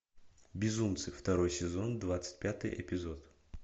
безумцы второй сезон двадцать пятый эпизод